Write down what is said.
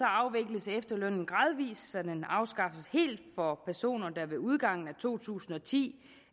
afvikles efterlønnen gradvis så den afskaffes helt for personer der ved udgangen af to tusind og ti